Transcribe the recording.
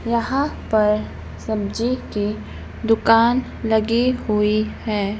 यहां पर सब्जी की दुकान लगी हुई है।